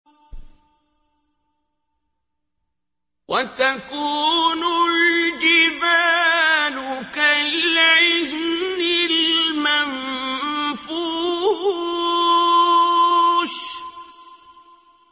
وَتَكُونُ الْجِبَالُ كَالْعِهْنِ الْمَنفُوشِ